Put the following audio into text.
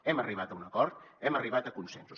hem arribat a un acord hem arribat a consensos